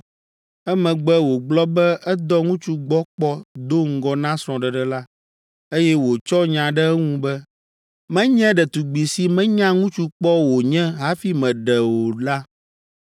emegbe wògblɔ be edɔ ŋutsu gbɔ kpɔ do ŋgɔ na srɔ̃ɖeɖe la, eye wòtsɔ nya ɖe eŋu be, “Menye ɖetugbi si menya ŋutsu kpɔ wònye hafi meɖee o” la,